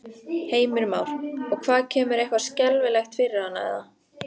Heimir Már: Og hvað kemur eitthvað skelfilegt fyrir hana eða?